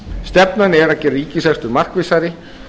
stefnan er að gera ríkisrekstur markvissari